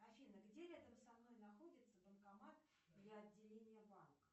афина где рядом со мной находится банкомат для отделения банка